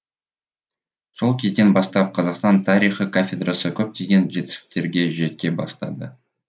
сол кезден бастап қазақстан тарихы кафедрасы көптеген жетістіктерге жете бастады